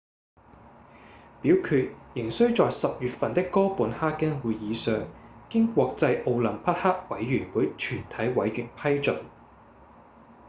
表決仍需在10月份的哥本哈根會議上經國際奧林匹克委員會全體委員批准